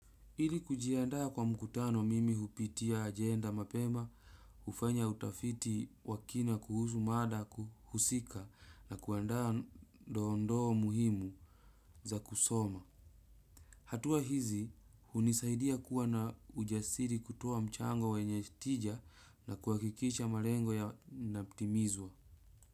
Ili kujiandaa kwa mkutano mimi hupitia ajenda mapema, hufanya utafiti wa kina kuhusu mada husika na kuandaa dondoo muhimu za kusoma. Hatua hizi, hunisaidia kuwa na ujasiri kutoa mchango wenye tija na kuhakikisha malengo yanatimizwa.